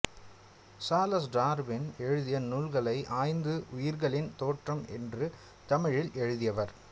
Charles Darwin எழுதிய நூல்களை ஆய்ந்து உயிர்களின் தோற்றம் என்று தமிழில் எழுதியவர்